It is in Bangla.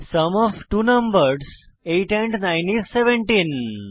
sum of two numbers 8 and 9 is 17